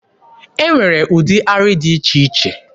E nwere ụdị arị dị iche iche.